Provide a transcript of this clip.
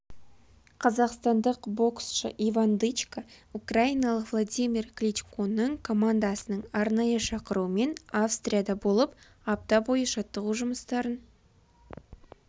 қазақстандық боксшы иван дычко украиналық владимир кличконың командасының арнайы шақыруымен австрияда болып апта бойы жаттығу жұмыстарын